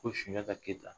Ko sunjata keyita